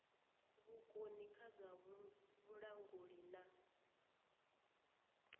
vhukoni kha zwa vhulanguli na